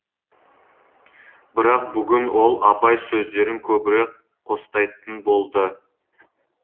бірақ бүгін ол абай сөздерін көбірек қостайтын болды